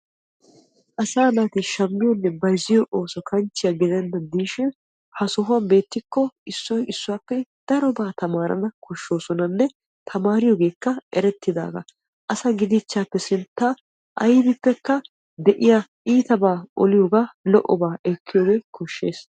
Asaa naati shammiyoonne bayzziyoo ooso kanchchiyaa gidennan de'ishin ha sohuwan beettikko issoy issuwaappe darobaa tamaarana koshshoosonanne tammaariyoogeekka erettidaaba. Asa gidiichchaappee sintta aybippekka de"yaa iitabaa oliyoogaa lo"obaa ekkiyoogee koshshees.